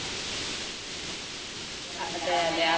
അതെ അതെ അത്